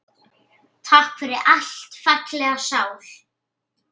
Takk fyrir allt, fallega sál.